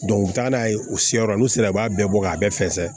u bɛ taa n'a ye u sera yɔrɔ la olu sera u b'a bɛɛ bɔ k'a bɛɛ fɛsɛ